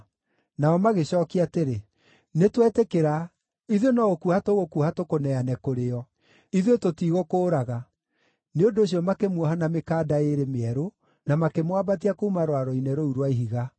Nao magĩcookia atĩrĩ, “Nĩtwetĩkĩra, ithuĩ no gũkuoha tũgũkuoha tũkũneane kũrĩ o. Ithuĩ tũtigũkũũraga.” Nĩ ũndũ ũcio makĩmuoha na mĩkanda ĩĩrĩ mĩerũ na makĩmwambatia kuuma rwaro-inĩ rũu rwa ihiga.